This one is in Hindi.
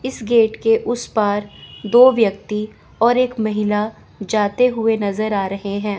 इस गेट के उस पार दो व्यक्ति और एक महिला जाते हुए नजर आ रहे हैं।